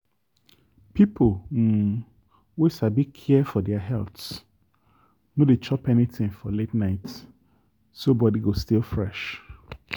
people um wey sabi care for their health no dey chop anything for late night so body go still fresh.